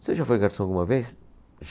Você já foi garçom alguma vez?